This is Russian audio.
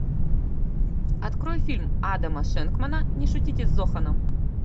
открой фильм адама шенкмана не шутите с зоханом